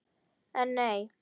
En nei!